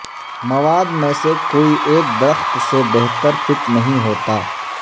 مواد میں سے کوئی ایک درخت سے بہتر فٹ نہیں ہوتا